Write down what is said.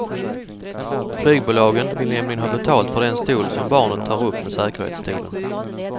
Flygbolagen vill nämligen ha betalt för den stol som barnet tar upp med säkerhetsstolen.